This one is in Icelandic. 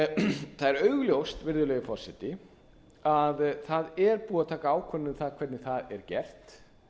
það er augljóst virðulegi forseti að það er búið að taka ákvörðun um það hvernig það er gert